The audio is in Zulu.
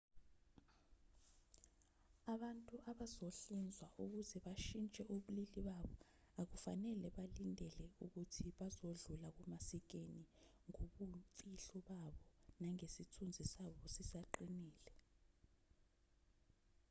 abantu abazohlinzwa ukuze bashintshe ubulili babo akufanele balindele ukuthi bazodlula kumasikena ngobumfihlo babo nangesithunzi sabo sisaqinile